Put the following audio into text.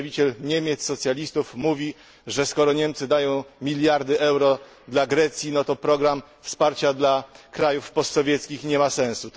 Przedstawiciel Niemiec, socjalistów, mówi, że skoro Niemcy dają miliardy euro dla Grecji, to program wsparcia dla krajów postsowieckich nie ma sensu.